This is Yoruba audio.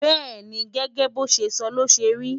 bẹ́́ẹ̀ni, gẹ́gẹ́ bo ṣe sọ ló ṣe ri